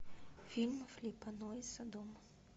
фильм филиппа нойса дом